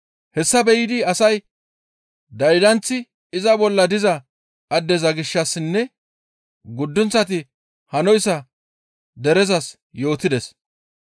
Hayssa be7ida asay daydanththi iza bolla diza addeza gishshassinne guddunththati hanoyssa derezas yootides.